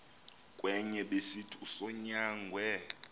kwenye besithi usonyangwe